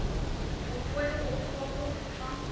voltooide opgawe ontvang